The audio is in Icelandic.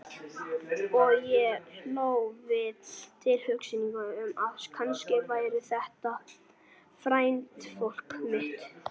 Og ég hló við tilhugsunina um að kannski væri þetta frændfólk mitt.